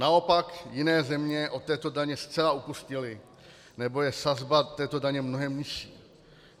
Naopak jiné země od této daně zcela upustily nebo je sazba této daně mnohem nižší.